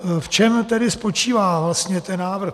V čem tedy spočívá vlastně ten návrh?